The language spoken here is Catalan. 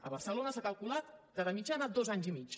a barcelona s’ha calculat que de mitjana dos anys i mig